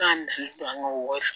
Ka na don an ka wari la